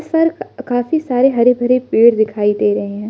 काफी सारे हरे भरे पेड़ दिखाई दे रहे हैं।